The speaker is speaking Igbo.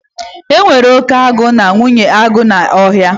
E nwere oke agụ na nwunye agụ n'Ọhịa